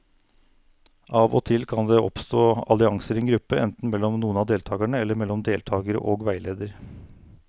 Av og til kan det oppstå allianser i en gruppe, enten mellom noen av deltakerne eller mellom deltakere og veileder.